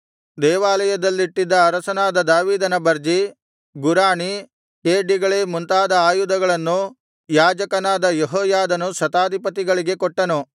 ದೇವಾಲಯದಲ್ಲಿಟ್ಟಿದ್ದ ಅರಸನಾದ ದಾವೀದನ ಬರ್ಜಿ ಗುರಾಣಿ ಖೇಡ್ಯಗಳೇ ಮುಂತಾದ ಆಯುಧಗಳನ್ನು ಯಾಜಕನಾದ ಯೆಹೋಯಾದನು ಶತಾಧಿಪತಿಗಳಿಗೆ ಕೊಟ್ಟನು